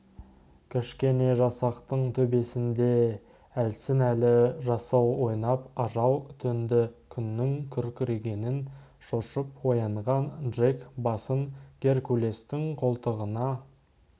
кішкене жасақтың төбесінде әлсін-әлі жасыл ойнап ажал төнді күннің күркірегенінен шошып оянған джек басын геркулестің қолтығына